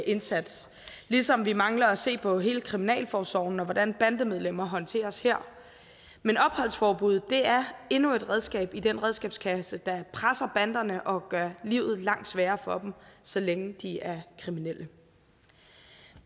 indsats ligesom vi mangler at se på hele kriminalforsorgen og hvordan bandemedlemmer håndteres her men opholdsforbuddet er endnu et redskab i den redskabskasse der presser banderne og gør livet langt sværere for dem så længe de er kriminelle